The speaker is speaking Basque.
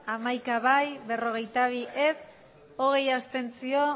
hamaika ez berrogeita bi abstentzioak